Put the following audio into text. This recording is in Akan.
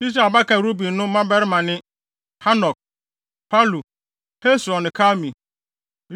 Israel abakan Ruben no mmabarima ne: Hanok, Palu, Hesron ne Karmi.